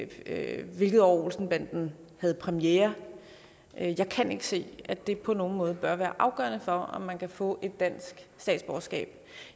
eller hvilket år olsen banden havde premiere jeg kan ikke se at det på nogen måde bør være afgørende for om man kan få et dansk statsborgerskab